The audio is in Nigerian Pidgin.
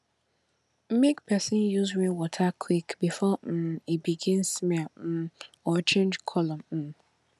make person use rainwater quick before um e begin smell um or change colour um